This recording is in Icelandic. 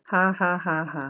Ha, ha, ha, ha.